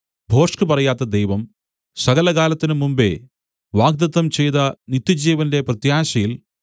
ഭോഷ്ക് പറയാത്ത ദൈവം സകലകാലത്തിനും മുമ്പെ വാഗ്ദത്തം ചെയ്ത നിത്യജീവന്റെ പ്രത്യാശയിൽ